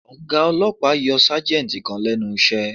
Ọ̀gá ọlọ́pàá yọ Sájẹ́ǹjì kan lẹ́nu iṣẹ́